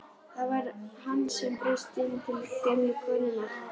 Það var hann sem braust inn til gömlu konunnar!